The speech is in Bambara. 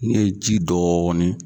Ne ye ji dɔɔni